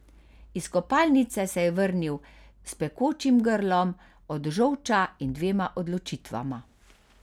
Iz kopalnice se je vrnil s pekočim grlom od žolča in dvema odločitvama.